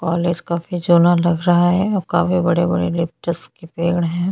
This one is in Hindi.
कॉलेज काफी जूना लग रहा है और काफी बड़े-बड़े लिप्टस के पेड़ है।